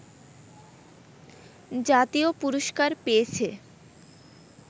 জাতীয় পুরষ্কার পেয়েছে